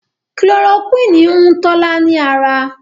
Chloroquine hùn Tola ní ára.